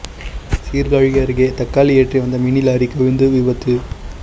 சீர்காழி அருகே தக்காளி ஏற்றி வந்த மினி லாரி கவிழ்ந்து விபத்து